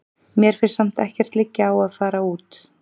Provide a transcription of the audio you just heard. Mér finnst samt ekkert liggja á að fara út.